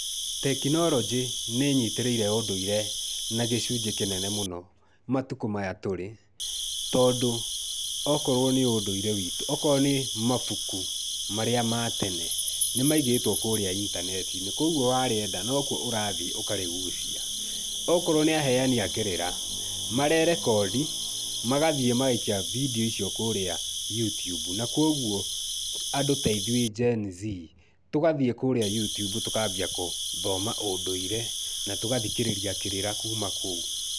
Tekinoronjĩ nĩnyitĩrĩire ũndũire na gĩcunjĩ kĩnene mũno matũkũ maya tũrĩ, tondũ okorwo nĩ ũndũire witũ, okorwo nĩ mabũkũ marĩa ma tene nĩmaigĩtwo kũrĩa intaneti-inĩ. Kogũo warĩenda nokũo ũrathiĩ ũkarĩgũcia. Okorwo nĩ aheani akĩrĩra marerekondi magathiĩ magaikia bindio icio kũrĩa utiumbu. Na kogũo andũ ta ithuĩ Gen Z tũgathiĩ kũrĩa utiumbu tũkambia gũthoma ũndũire na tũgathikĩrĩria kĩrĩra kuma kũu.